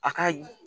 A ka